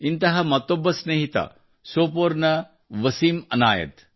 ಇಂತಹ ಮತ್ತೊಬ್ಬ ಸ್ನೇಹಿತ ಸೋಪೋರ್ನ ವಸಿಂ ಅನಾಯತ್